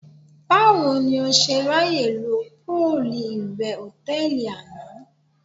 Báwo ni o ṣe ráyè lo póòlù ìwẹ̀ hòtẹ́ẹ̀lì àná?